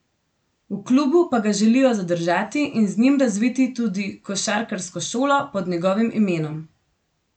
V klubu pa ga želijo zadržati in z njim razviti tudi košarkarsko šolo pod njegovim imenom.